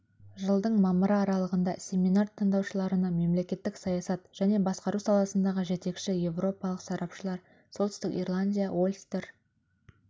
жылдың мамыры аралығында семинар тыңдаушыларына мемлекеттік саясат және басқару саласындағы жетекші еуропалық сарапшылар солтүстік ирландия ольстер